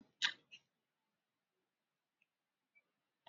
ku Kai anko wurin tela!